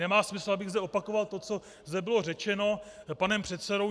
Nemá smysl, abych zde opakoval to, co zde bylo řečeno panem předsedou.